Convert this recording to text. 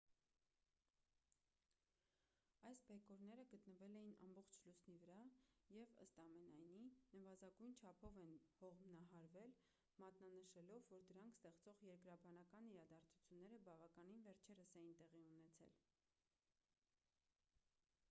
այս բեկորները գտնվել էին ամբողջ լուսնի վրա և ըստ ամենայնի նվազագույն չափով են հողմահարվել մատնանշելով որ դրանք ստեղծող երկրաբանական իրադարձությունները բավականին վերջերս էին տեղի ունեցել